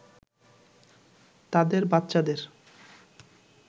তাদের বাচ্চাদের